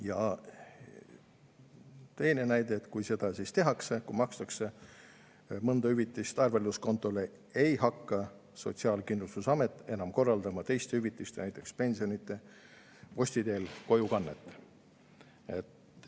Ja teine näide: kui seda tehakse, kui makstakse mõnda hüvitist arvelduskontole, siis ei hakka Sotsiaalkindlustusamet enam korraldama teiste hüvitiste, näiteks pensionide posti teel kojukannet.